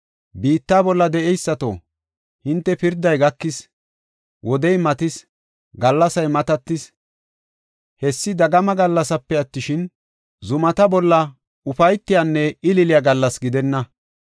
Biitta bolla de7eysato, hinte pirday gakis; wodey matis; gallasay matatis. Hessi dagama gallasipe attishin, zumata bolla ufaysan ililiya gallas gidenna.